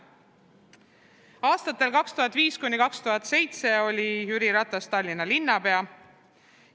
Aastatel 2005–2007 oli Jüri Ratas Tallinna linnapea.